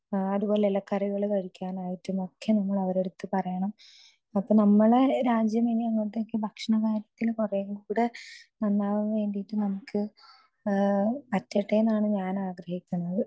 speaker 2 അതുപോലെ ഇലക്കറികൾ കഴിക്കാനായിട്ട് ഒക്കെ നമ്മൾ ഒരേടുത്തു പറയണം അപ്പൊ നമ്മുടെ രാജ്യം ഇനി ഭക്ഷണകാര്യത്തിന് കുറേക്കൂടെ നന്നാവാൻ വേണ്ടിയിട്ട് പറ്റട്ടെ എന്നാണ് ഞാൻ ആഗ്രഹിക്കുന്നത്